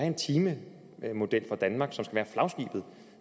en timemodel for danmark